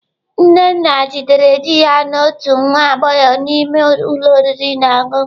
Nnenna jidere di ya na otu nwa agbọghọ n'ime ụlọ oriri na ọṅụṅụ.